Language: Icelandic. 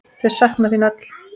Þau sakna þín öll.